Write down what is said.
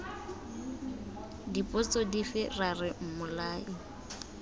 dipotso dife ra re mmolai